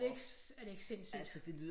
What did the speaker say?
Er det ikke er det ikke sindssygt